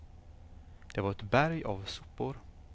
Det var ett berg av sopor.